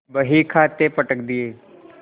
बहीखाते पटक दिये